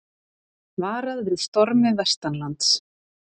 Varað við stormi vestanlands